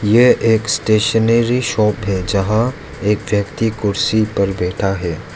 यह एक stationery shop है जहां एक व्यक्ति कुर्सी पर बैठा है।